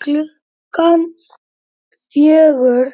Klukkan fjögur